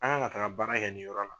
An kan ka taga baara kɛ nin yɔrɔ la.